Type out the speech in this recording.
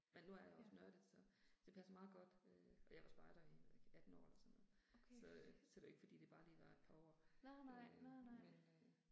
Men nu er jeg også nørdet, så det passer meget godt øh. Og jeg var spejder i jeg ved ikke 18 år eller sådan noget, så øh så det var ikke fordi det bare lige var et par år, men øh